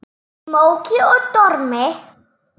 Í móki og dormi.